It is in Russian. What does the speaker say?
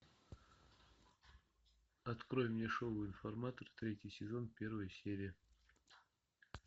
открой мне шоу информатор третий сезон первая серия